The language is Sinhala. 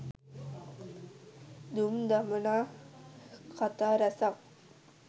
දුම් දමනා කතා ‍රැසක්